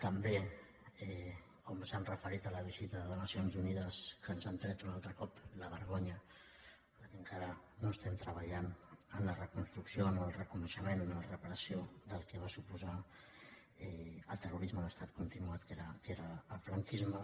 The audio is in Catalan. també quan s’han referit a la visita de nacions unides que ens han tret un altre cop la vergonya perquè encara no treballem en la reconstrucció en el reconeixement en la reparació del que va suposar el terrorisme d’estat continuat que era el franquisme